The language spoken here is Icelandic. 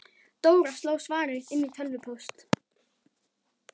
Dóra sló svarið inn í tölvupóst.